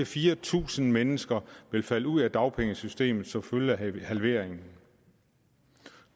fire tusind mennesker ville falde ud af dagpengesystemet som følge af halveringen